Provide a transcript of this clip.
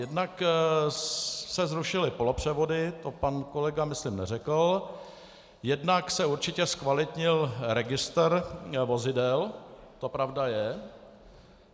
Jednak se zrušily polopřevody, to pan kolega myslím neřekl, jednak se určitě zkvalitnil registr vozidel, to pravda je.